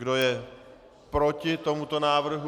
Kdo je proti tomuto návrhu?